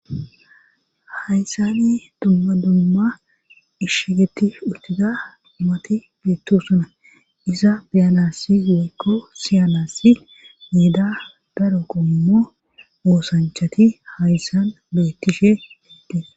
haysani dumma dumma ishshegetti uttiza dumati beettusona iza beyanassi yeekko siyanassi mieda daro qommo moosanchati hayssan beettishe hiddee